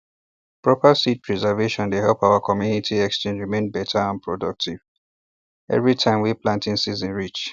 proper seed preservation dey help our community exchange remain better and productive every time wey planting season reach